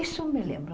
Isso me lembro.